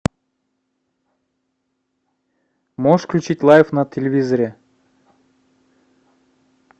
можешь включить лайф на телевизоре